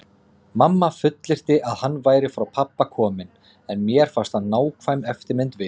Mamma fullyrti að hann væri frá pabba kominn, en mér fannst hann nákvæm eftirmynd Viðars.